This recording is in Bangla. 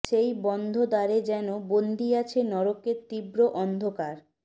সেই বন্ধ দ্বারে যেন বন্দী আছে নরকের তীব্ৰ অন্ধকার